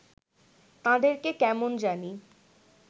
তাঁদেরকে কেমন জানি